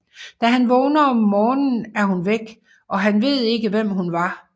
Da han vågner om morgenen er hun væk og han ved ikke hvem hun var